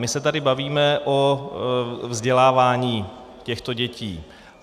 My se tady bavíme o vzdělávání těchto dětí.